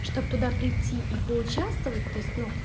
чтоб туда прийти и поучаствовать то есть ну